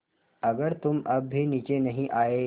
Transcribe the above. अगर तुम अब भी नीचे नहीं आये